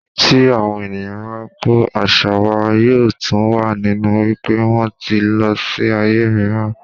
Tí àwọn ènìyàn bá kú, àṣà wa yóò tù wá nínú wípé wón ti lọ sí ayé mìíràn.